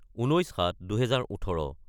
: 19-07-2018